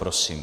Prosím.